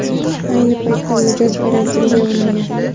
Ayni paytda mijoz karantinga olingan.